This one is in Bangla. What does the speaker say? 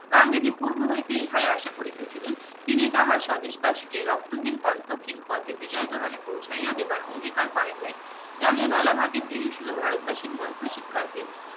গান্ধীজি পুর্ব হইতে ইহাই আশাই করিতেছিলেন তিনি তাহার স্বদেশ বাসী কে রক্তহীন কণ্ঠ হীন পথে বিজয়া তোরণে পৌঁছাইয়া দেবার অঙ্গীকার করেন নাই জালিয়ানওয়ালাবাগের দিনই ছিলো ভারতবাসীর মন্ত্র শিক্ষার দিন